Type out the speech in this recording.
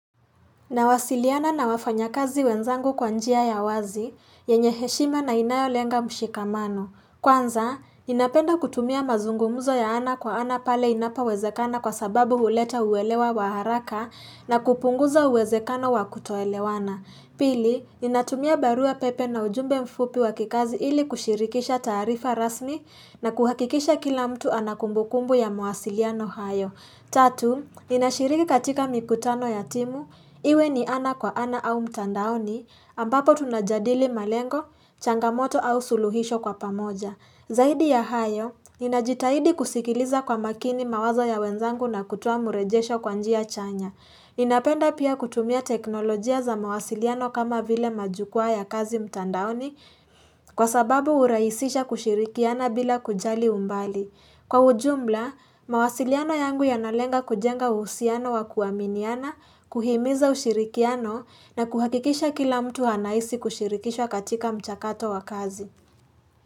Nawasiliana na wafanya kazi wenzangu kwa njia ya wazi, yenye heshima na inayolenga mshikamano. Kwanza, ninapenda kutumia mazungumuzo ya ana kwa ana pale inapo wezekana kwa sababu uleta uwelewa wa haraka na kupunguza uwezekano wa kutoelewana. Pili, ninatumia barua pepe na ujumbe mfupi wakikazi ili kushirikisha taarifa rasmi na kuhakikisha kila mtu anakumbukumbu ya mawasiliano hayo. Tatu, ninashiriki katika mikutano ya timu, iwe ni ana kwa ana au mtandaoni, ambapo tunajadili malengo, changamoto au suluhisho kwa pamoja. Zahidi ya hayo, ninajitahidi kusikiliza kwa makini mawazo ya wenzangu na kutoa mrejesho kwa njia chanya. Ninapenda pia kutumia teknolojia za mawasiliano kama vile majukuwa ya kazi mtandaoni, kwa sababu urahisisha kushirikiana bila kujali umbali. Kwa ujumla, mawasiliano yangu yanalenga kujenga uhusiano wa kuaminiana, kuhimiza ushirikiano na kuhakikisha kila mtu anahisi kushirikishwa katika mchakato wa kazi.